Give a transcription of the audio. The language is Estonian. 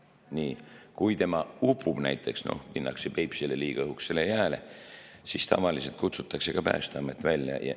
Kui upub, näiteks minnakse Peipsile liiga õhukesele jääle, siis tavaliselt kutsutakse ka Päästeamet välja.